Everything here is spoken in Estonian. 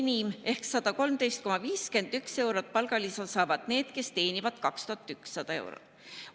Enim ehk 113,51 eurot palgalisa saavad need, kes teenivad 2100 eurot.